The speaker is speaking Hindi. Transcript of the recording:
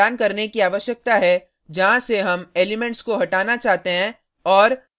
हमें इंडेक्स प्रदान करने की आवश्यकता है जहाँ से हम एलिमेंट्स को हटाना चाहते हैं और